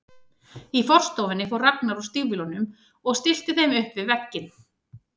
Í forstofunni fór Ragnar úr stígvélunum og stillti þeim upp við vegginn.